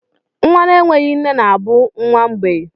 Nwa na-enweghị nne na nna bụ nwa mgbei.